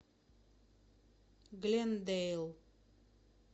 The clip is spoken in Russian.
глендейл